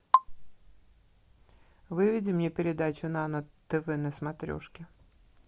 выведи мне передачу нано тв на смотрешке